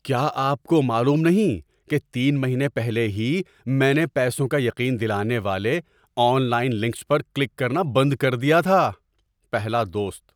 کیا آپ کو معلوم نہیں کہ تین مہینے پہلے ہی میں نے پیسوں کا یقین دلانے والے آن لائن لنکس پر کلک کرنا بند کر دیا تھا؟ (پہلا دوست)